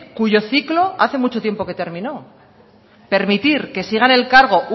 cuyo ciclo hace mucho tiempo que terminó permitir que siga en el cargo